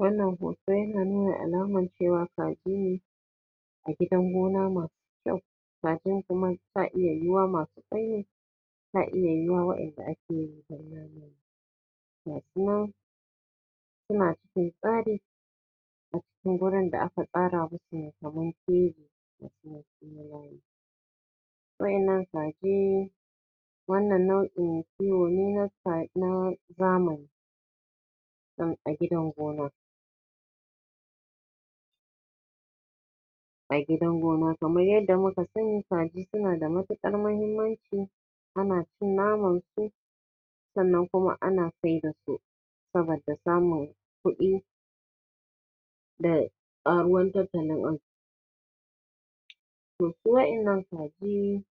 Wannan hoto yana nuna alaman cewa kaji ne a gidan gona masu kyau. kajin kuma sa iya yiwa masu kwai ne sa iya yiwa waƴanda ake yi don nama ne. Gasunan suna cikin tsari a cikin wurin da aka tsara musu mai kamar keji gasu nan sunyi layi. waƴannan kaji wannan nau'in kiwo ne na ka na zamani ah a gidan gona a gidan gona kamar yadda muka sani kaji suna da matuƙar muhimmanci ana cin naman su sannan kuma ana sai da su saboda samun kuɗi da karuwar tattalin arziki. to su waƴannan kaji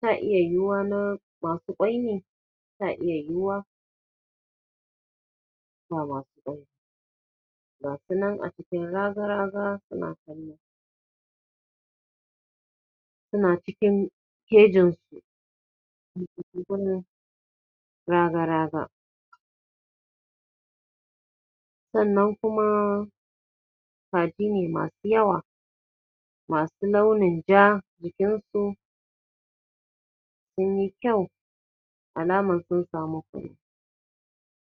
sa iya yiwa na masu kwai ne sa iya yiwa ba ma masu kwai ba. gasu nan a cikin raga-raga suna kallo suna cikin kejin su raga-raga sannan kuma kaji ne masu yawa masu launin ja jikin su sun yi kyau alamar sun samu kula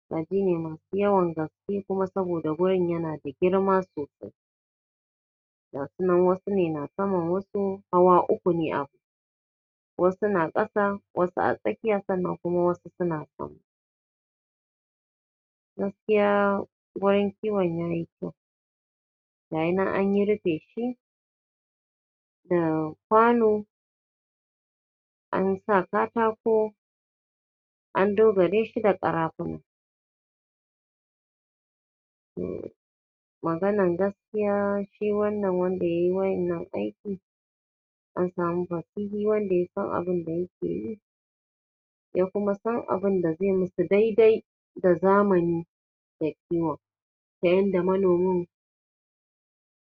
Kaji ne masu yawan gaske kuma saboda gurin yana da girma sosai gasu nan wasu ne nasaman wasu hawa uku ne abun wasu na ƙasa wasu a tsakiya sannan kuma wasu suna sama gaskiya gurin kiwon yayi kyau gayi nan an yi rufin shi da kwano an sa katako an dogare shi da karafuna. To maganan gaskiya shi wannan wanda yayi wa innan aiki an samu fasihi wanda yasan abun da yake yi ya kuma san abun da zai musu daidai da zamani da kiwon ta yanda manomin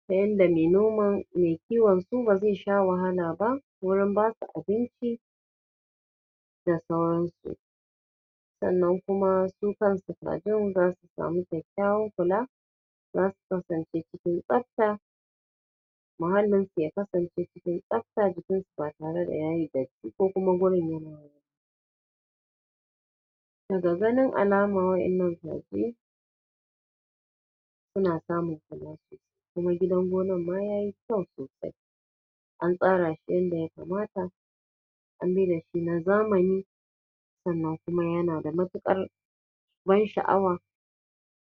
tayanda me noman mai kiwon su ba zai sha wahala ba wurin basu abinci da sauransu sannan kuma su kansu kajin zasu samu kyakkyawan kula zasu kasance cikin tsafta muhallin su ya kasance cikin tsafta jikin su ba tare da ya yi datti ko kuma gurin yana wari ba daga ganin alamar waƴannan kaji suna samun kula sosai kuma gidan gonar ma ya yi kyau sosai an tsara shi yanda ya kamata an mai dashi na zamani sannan kuma yana da matuƙar ban sha'awa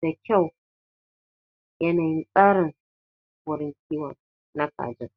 da kyau yanayin tsarin wurin kiwon na kajin